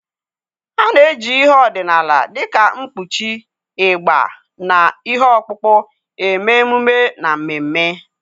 A na-eji ihe ọdịnala dịka nkpuchi, ịgbà, na ihe ọkpụkpụ eme emume na mmemme.